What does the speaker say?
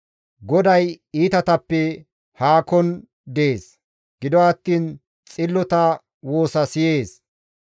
GODAY iitatappe haakon dees; gido attiin xillota woosa siyees.